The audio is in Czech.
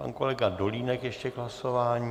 Pan kolega Dolínek ještě k hlasování.